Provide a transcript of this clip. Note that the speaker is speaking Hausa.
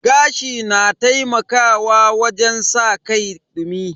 Gashi na taimakawa wajen saka kai dumi.